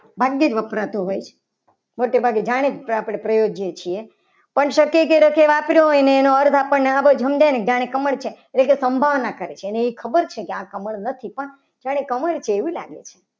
મંદિર વપરાતું હોય છે. મને તો બાકી જાણીને જ પ્રયોજીએ છીએ. પણ શક્ય કે રખે વાપરી હોય. એનો અર્થ આપણને જોઈએ છીએ. એટલે સંભાવના કરી છે અને એ ખબર છે કે આ કમળ નથી પણ જાણે કમળ છે એવું લાગે છે.